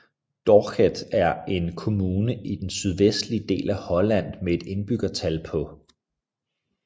Dordrecht er en kommune i den sydvestlige del af Holland med et indbyggertal på